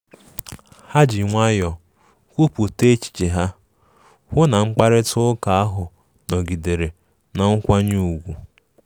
Ha ji nwayọọ kwupụta echiche ha, hụ na mkparịta ụka ahụ nọgidere na mkwanye ùgwù